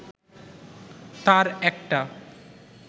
তার একটা